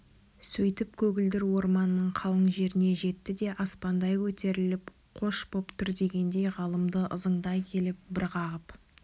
сөйтіп көгілдір орманның қалың жеріне жетті де аспандай көтеріліп қош боп тұр дегендей ғалымды ызыңдай келіп бір қағып